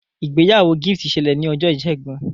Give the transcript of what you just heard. ìgbéyàwó Gift ṣẹlẹ ní Ọjọ́ Ìsẹ́gun.